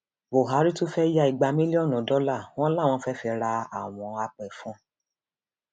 buhari tún fẹẹ ya igba mílíọnù dọlà wọn làwọn fee fi ra àwọn àpéfọn